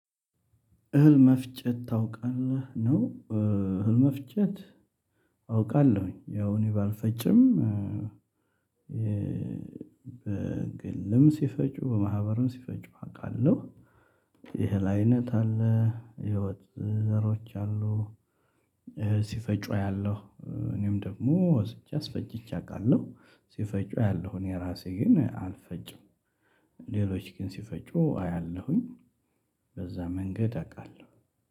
እህል መፍጨት ታውቃለህ ነው። እህል መፍጨት አውቃለሁኝ ያው እኔ ባልፈጭም በግልም ሲፈጩ በማህበሩም ሲፈጩ አውቃለሁ። የእህል አይነት አለ። የወጥ ዘሮች አሉ። አያለሁ እኔም ደግሞ ወስጄ አስፈጭቼ አውቃለሁ ሲፈጩ አያለሁ እኔ እራሴ ግን አልፈጭም። ሌሎች ግን ሲፈጩ አያለሁኝ በዛ መንገድ አውቃለሁ